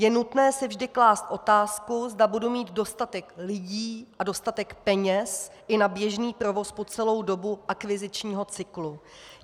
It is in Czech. Je nutné si vždy klást otázku, zda budu mít dostatek lidí a dostatek peněz i na běžný provoz po celou dobu akvizičního cyklu.